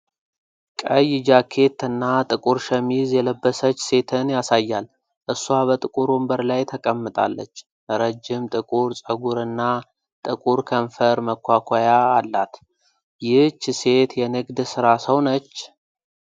ቀይ ጃኬት እና ጥቁር ሸሚዝ የለበሰች ሴትን ያሳያል። እሷ በጥቁር ወንበር ላይ ተቀምጣለች። ረጅም ጥቁር ፀጉርና ጥቁር ከንፈር መኳኳያ አላት። ይህች ሴት የንግድ ሥራ ሰው ነች?